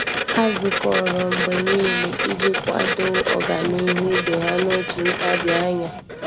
Há zùkọ́rọ́ mgbe nìile iji kwàdòọ́ ọ́gànihu ibe ha n’òtù ntabi anya.